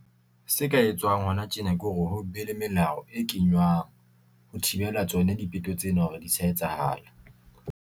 Se ka etswang hona tjena ke hore ho be le melao e kenywang, ho thibela tsona dipeto tsena hore di sa etsahala.